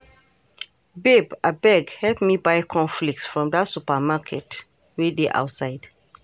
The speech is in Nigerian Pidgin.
Babe, abeg help me buy corn flakes from dat supermarket wey dey outside